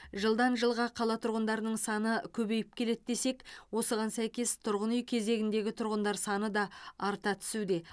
жылдан жылға қала тұрғындарының саны көбейіп келеді десек осыған сәйкес тұрғын үй кезегіндегі тұрғандар саны да арта түсуде